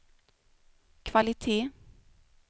kvalitet